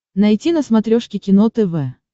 найти на смотрешке кино тв